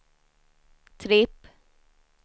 tripp